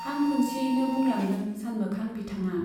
हां खुनसेयैनो बुंलांदों सानमोखां बिथाङा।